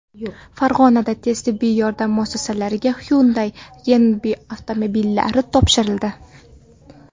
Farg‘onada tez tibbiy yordam muassasalariga Hyundai reanimobillari topshirildi.